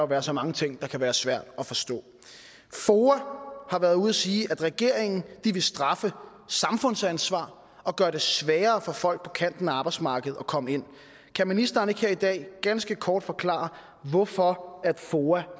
være så mange ting der kan være svære at forstå foa har været ude at sige at regeringen vil straffe samfundsansvar og gøre det sværere for folk på kanten af arbejdsmarkedet at komme ind kan ministeren ikke her i dag ganske kort forklare hvorfor foa